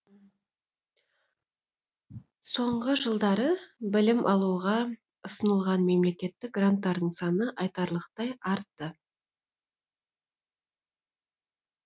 соңғы жылдары білім алуға ұсынылған мемлекеттік гранттардың саны айтарлықтай артты